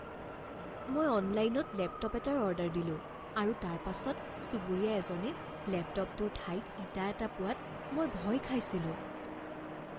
মই অনলাইনত লেপটপ এটাৰ অৰ্ডাৰ দিলোঁ আৰু তাৰ পাছত চুবুৰীয়া এজনে লেপটপটোৰ ঠাইত ইটা এটা পোৱাত মই ভয় খাইছিলোঁ।